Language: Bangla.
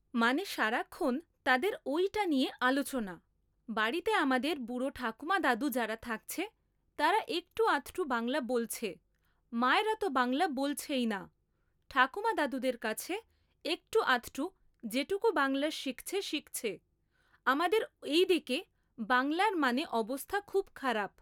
মানে সারাক্ষণ তাদের ওইটা নিয়ে আলোচনা। বাড়িতে আমাদের বুড়ো ঠাকুমা দাদু যারা থাকছে তারা একটু আধটু বাংলা বলছে মায়েরা তো বাংলা বলছেইনা ঠাকুমা দাদুদের কাছে একটু আধটু যেটুকু বাংলা শিখছে শিখছে আমাদের এইদিকে বাংলার মানে অবস্থা খুব খারাপ